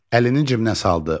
Əlini cibinə saldı,